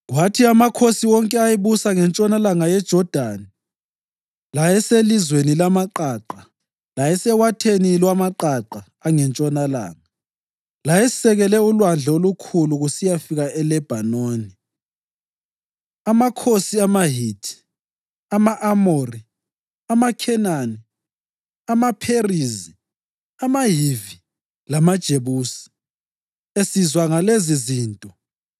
Kwathi amakhosi wonke ayebusa ngentshonalanga yeJodani, layeselizweni lamaqaqa, layesewatheni lwamaqaqa angentshonalanga, layesekele uLwandle oLukhulu kusiyafika eLebhanoni, amakhosi amaHithi, ama-Amori, amaKhenani, amaPherizi, amaHivi lamaJebusi esizwa ngalezizinto